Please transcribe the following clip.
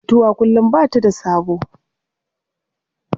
Mutuwa kullum ba ta da sabo.